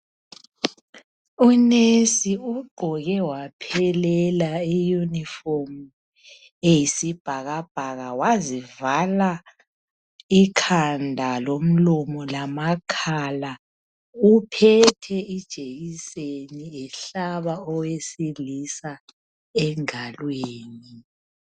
UNesi ugqoke waphelela iyunifomu eyisibhakabhaka wazivala ikhanda lomlomo lama khala. Uphethe ijekiseni ehlaba owesilisa engalweni.